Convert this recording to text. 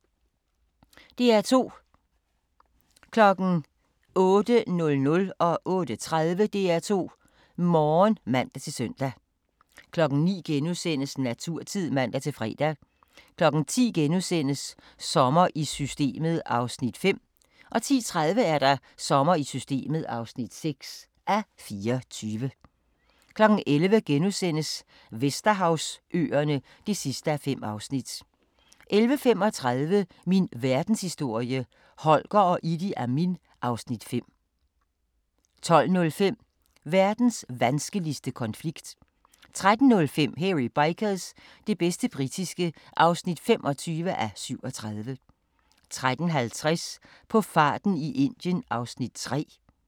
DR2